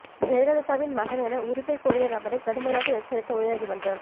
ஜெயலலிதாவின் மகன் என உரிமை கோரிய நபரை கடுமையாக எச்சரித்த உயர்நீதிமன்றம்